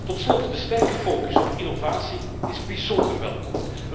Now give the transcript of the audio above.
Tot slot de sterke focus op innovatie is bijzonder welkom.